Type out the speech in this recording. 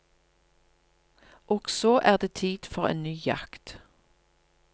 Og så er det tid for en ny jakt.